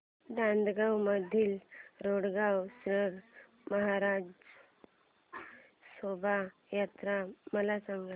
नांदगाव मधील रोकडेश्वर महाराज शोभा यात्रा मला सांग